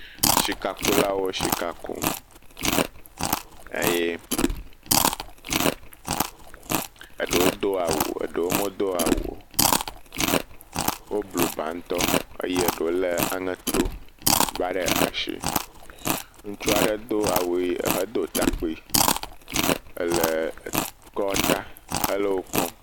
Sikakulawo sika kum, eye eɖewo do awu eye eɖewo medo awu o, woblu ba ŋutɔ eye eɖewo lé aŋeto gba ɖe asi, ŋutsu aɖe do awu ʋe ehedo takpui ele kɔ ta hele wo kpɔm.